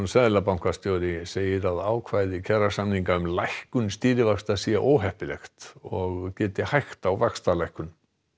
seðlabankastjóri segir að ákvæði kjarasamninga um lækkun stýrivaxta sé óheppilegt og geti hægt á vaxtalækkun